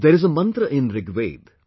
There is a mantra in Rigved